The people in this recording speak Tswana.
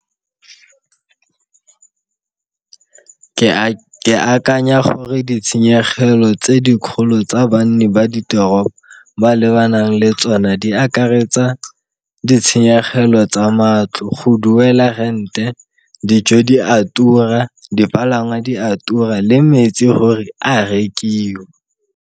Ke akanya gore ditshenyegelo tse dikgolo tsa banni ba ditoropo ba lebanang le tsone di akaretsa ditshenyegelo tsa matlo, go duela rent-e, dijo di a tura, dipalangwa di a tura le metsi gore a rekiwa.